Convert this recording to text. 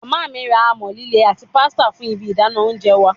Mama mi ra amọ-lile ati pestle fun ibi idana ounjẹ wa